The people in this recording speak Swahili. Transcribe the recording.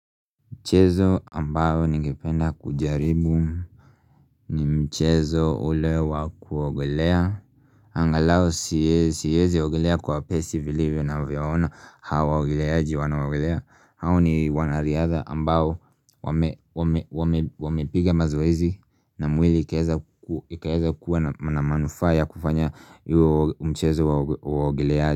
Mchezo ambao ningependa kujaribu ni mchezo ule wakuogelea Angalao siezi ogelea kwa pesi vilivyo na vyaona hawa waogeleaji wanaogelea hao ni wanariadha ambayo wamepiga mazoezi na mwili ikaeza kuwa na manufaaa kufanya iyo mchezo wa uogeleaji.